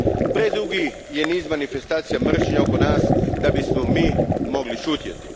Predugi je niz manifestacija mržnje oko nas da bismo mi mogli šutjeti.